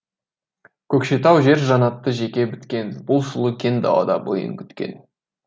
көкшетау жер жаннаты жеке біткен бұл сұлу кең далада бойын күткен